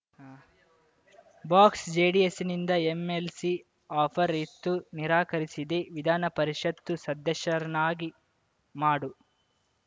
box ಜೆಡಿಎಸ್‌ನಿಂದ MLC offer ಇತ್ತು ನಿರಾಕರಿಸಿದೆ ವಿಧಾನ ಪರಿಷತ್‌ ಸದಸ್ಯರನ್ನಾಗಿ ಮಾಡು